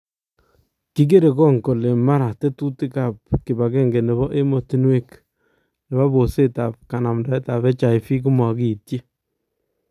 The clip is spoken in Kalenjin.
Kikere kong kole mara tetutiik ab kipagenge nebo emotunwek nebo poseet ab kanamdaetab HIV komakiityi